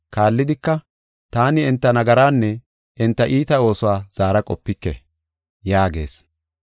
Kaallidika, “Taani enta nagaraanne enta iita oosuwa zaara qopike” yaagees.